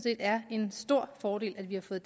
er en stor fordel at vi har fået